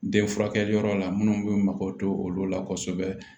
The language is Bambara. Den furakɛli yɔrɔ la minnu bɛ mako to olu la kosɛbɛ